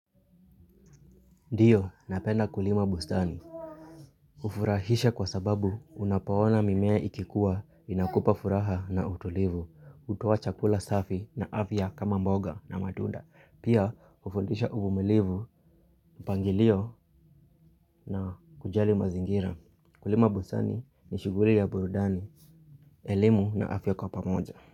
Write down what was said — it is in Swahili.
Ndiyo, napenda kulima bustani. Hufurahisha kwa sababu unapoona mimea ikikuwa inakupa furaha na utulivu, hutoa chakula safi na afya kama mboga na matunda. Pia hufundisha uvumilivu, mpangilio na kujali mazingira. Kulima bustani ni shughuli ya burudani elimu na afya kwa pamoja.